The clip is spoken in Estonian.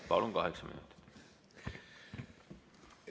Palun, kaheksa minutit!